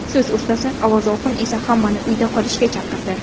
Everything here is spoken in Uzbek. So‘z ustasi Avaz Oxun esa hammani uyda qolishga chaqirdi.